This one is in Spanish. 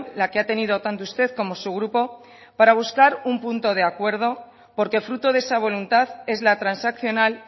la que ha tenido tanto usted como su grupo para buscar un punto de acuerdo porque fruto de esa voluntad es la transaccional